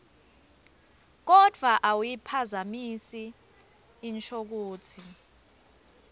kodvwa awuyiphazamisi inshokutsi